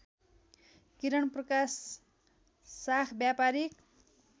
किरणप्रकाश साख व्यापारीक